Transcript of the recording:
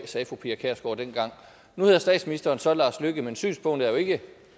sagde fru pia kjærsgaard dengang nu hedder statsministeren så lars løkke rasmussen men synspunktet er jo ikke